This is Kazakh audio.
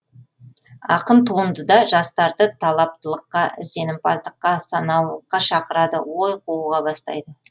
ақын туындыда жастарды талаптылыққа ізденімпаздыққа саналылыққа шақырады ой қууға бастайды